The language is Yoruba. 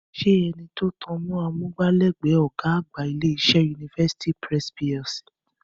Ṣé ẹni tó tan mọ́ amúgbálẹ́gbẹ̀ẹ́ ọ̀gá àgbà ilé-iṣẹ́ University Press PLC